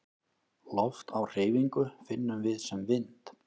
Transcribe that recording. Loft á hreyfingu finnum við sem vind.